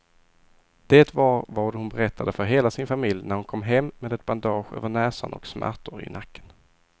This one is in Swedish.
Det var vad hon berättade för hela sin familj när hon kom hem med ett bandage över näsan och smärtor i nacken.